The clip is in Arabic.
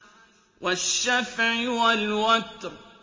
وَالشَّفْعِ وَالْوَتْرِ